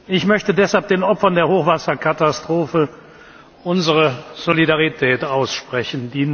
Ich möchte deshalb den Opfern der Hochwasserkatastrophe unsere Solidarität aussprechen.